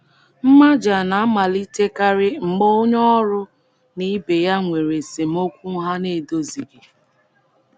Mmaja na - amalitekarị mgbe onye ọrụ na ibe ya nwere esemokwu ha na - edozighị.